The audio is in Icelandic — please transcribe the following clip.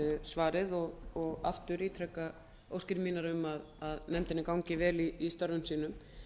svarið og aftur ítreka óskir mínar um að nefndinni gangi vel í störfum sínum